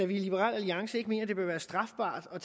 vi i liberal alliance ikke mener at det bør være strafbart at